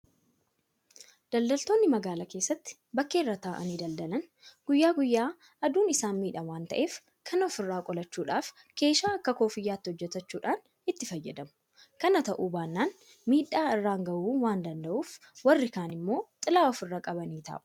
Daldaltoonni magaalaa keessatti bakkee irra taa'anii daldalan guyyaa guyyaa aduun isaan miidha waanta ta'eef kana ofirraa qolachuudhaaf keshaa akka kooffiyyaatti hojjetachuudhaan itti fayyadamu. Kana ta'uu baannaan miidhaa irraan gahuu waanta danda'uif warri kaan immoo xilaa ofirra qabanii taa'u.